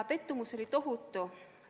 Pettumus oli tohutu.